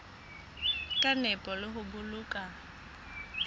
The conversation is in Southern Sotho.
ka nepo le ho boloka